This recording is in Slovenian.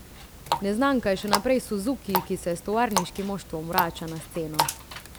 Neznanka je še naprej Suzuki, ki se s tovarniškim moštvom vrača na sceno.